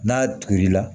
N'a tugula